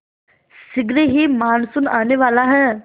शीघ्र ही मानसून आने वाला है